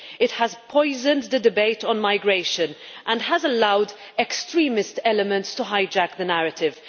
It has poisoned the debate on migration and has allowed extremist elements to hijack the narrative.